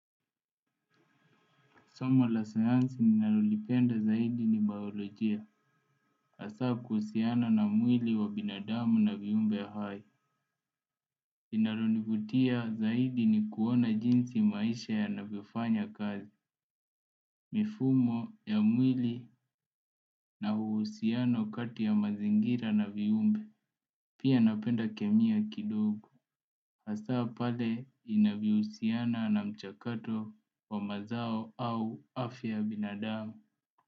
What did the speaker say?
Soma la sayansi ninalolipenda zaidi ni biolojia, hasaa kuhusiana na mwili wa binadamu na viumbe hai. Linalonivutia zaidi ni kuona jinsi maisha yanavyofanya kazi, mifumo ya mwili na uhusiano kati ya mazingira na viumbe. Pia napenda kemia kidogo, hasa pale inavyohusiana na mchakato wa mazao au afya binadamu.